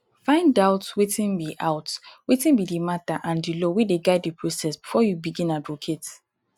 find out wetin be out wetin be di matter and di law wey dey guide the process before you begin advocate